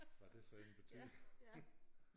Hvad det så end betyder